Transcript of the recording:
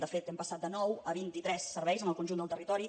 de fet hem passat de nou a vintitres serveis en el conjunt del territori